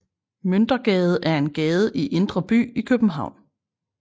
Møntergade er en gade i Indre By i København